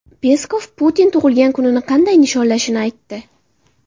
Peskov Putin tug‘ilgan kunini qanday nishonlashini aytdi.